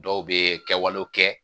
Dɔw bɛ kɛwalew kɛ